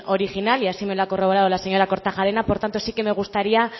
original y así me lo ha corroborado la señora kortajarena por tanto sí que me gustaría